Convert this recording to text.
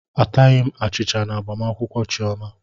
Ataghị m achicha na agbamakwụkwọ Chioma.